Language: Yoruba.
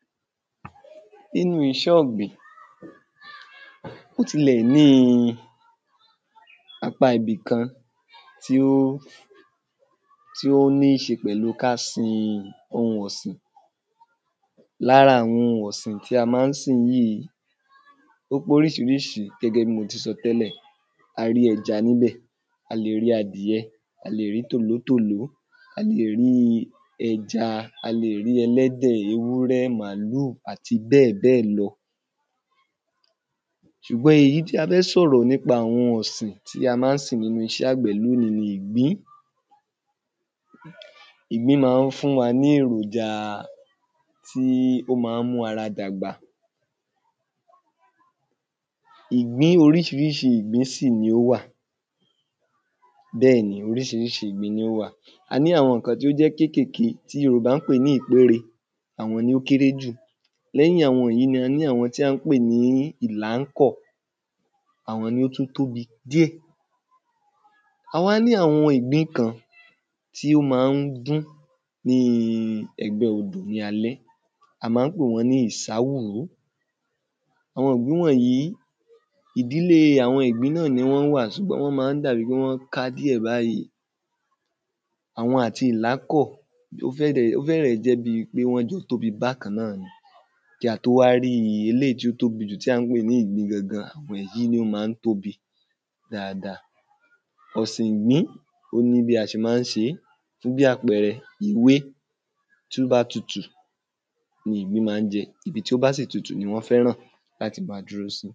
Nínú iṣẹ̀ ọ̀gbìn ó tilẹ̀ ní apá ibi kán tí ó tí ó ní ṣe pẹ̀lú ká sin ohun ọ̀sìn lára àwọn ohun ọ̀sìn tí a má ń sìn yíì ó póríṣiríṣi gẹ́gẹ́ bí mo ti sọ tẹ́lẹ̀ a rí ẹja ní bẹ̀ a le rí adìyẹ a lè rí tòlótòló a le rí ẹja a lè rí ẹlẹ́dẹ̀ ewurẹ́ màlúù àti bẹ́ẹ̀ bẹ́ẹ̀ lọ ṣùgbọ́n èyí tí a fẹ́ sọ̀rọ̀ nípa àwọn ọ̀sìn tí a má ń sìn nínú iṣẹ̀ àgbẹ̀ lóní ni ìgbín ìgbín ma ń fún wa ní èròjà tí ó ma ń mú ara dàgbà oríṣiríṣi ìgbín sì ni ó wà bẹ́ẹ̀ ni oríṣiríṣi ìgbín ni ó wà a ní àwọn kan tó jẹ́ kékèké tí yòbá ń pè ní ìgbére àwọn ni ó kéré jù lẹ́yìn àwọn èyí a ní àwọn tí à ń pè ní ìlánkò àwọn ni ó tú tóbi díẹ̀ a wá ní àwọn ìgbín kan tí ó ma ń dún ní ẹ̀gbẹ́ odò ní a lé a má ń pè wọ́n ni ìsáwúrú àwọn ìgbín wọ̀nyí ìdílé àwọn ìgbín náà ni wọ́n wa sùgbọ́n wọn má ń dàbí pé wọn ká díẹ̀ báyí àwọn àti ìlákọ̀ ó fẹ̀rẹ̀ jẹ́ bi wọ́n jọ tóbi bákan náà kí a tó wá rí eléyi tó tobí jù tí à ń pè ní ìgbìn gangan wẹ̀ yí ni ó ma ń tóbi dada ọ̀sìn ìgbín ó ní bí a ṣe má ń ṣe fún bí apẹẹrẹ ewé tó bá tutù ni ìgbín ma ń jẹ ibi tí ó bá dẹ̀ tutù ni wọ́n fẹ́ràn láti ma dúró sí